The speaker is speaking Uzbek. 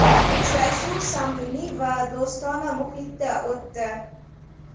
Uchrashuv samimiy va do‘stona muhitda o‘tdi.